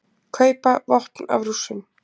Kaupa vopn af Rússum